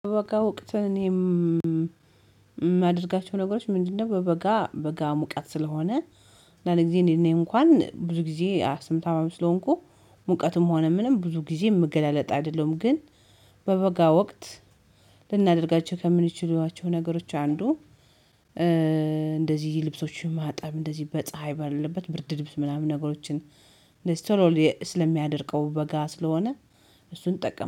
በበጋ እውቀት እኔም የማደርጋቸው ነገሮች ምንድነው? በበጋ በጋ ሙቀት ስለሆነ አንዳንድ ጊዜ እኔ እንኳን ብዙ ጊዜ አስም ታማሚ ስለሆንኩ። ሙቀትም ሆነ ምንም ብዙ ጊዜ ምገላለጥ አይደለም ግን በበጋ ወቅት። ልናደርጋቸው ከምንችሏቸው ነገሮች አንዱ ልብሶችን ማጠብ እንደዚህ በፀሀይ ባለት ብርድ ልብስ ምናምን ነገሮችን። ቶሎ ስለሚያደርገው በጋ ስለሆነ እሱን ጠቀም